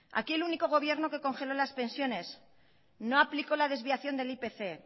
aquí el único gobierno que congeló las pensiones no aplicó la desviación del ipc